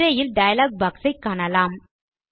திரையில் dialog box ஐ காணலாம்